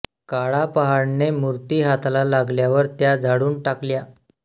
काळा पहाडने मूर्ती हाताला लागल्यावर त्या जाळून टाकल्या